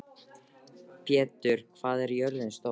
Petter, hvað er jörðin stór?